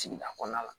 Sigida kɔnɔna la